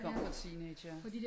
Vi kom fra teenagere